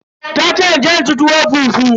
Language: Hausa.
Tace in je in ci tuwo fufu.